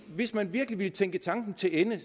hvis man virkelig tænker tanken til ende